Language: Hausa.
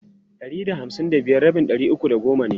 Ɗari da hamsin da biyar rabin ɗari uku da goma ne.